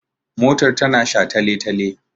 Motar ta na shataletale